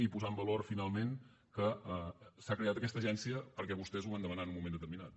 i posar en valor finalment que s’ha creat aquesta agència perquè vostès ho van demanar en un moment determinat